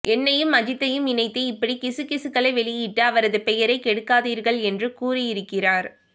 என்னையும் அஜித்தையும் இணைத்து இப்படி கிசுகிசுக்களை வெளியிட்டு அவரது பெயரை கெடுக்காதீர்கள் என்று கூறியிருக்கிறார்